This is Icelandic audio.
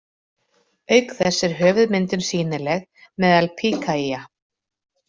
Auk þess er höfuðmyndun sýnileg meðal Pikaia.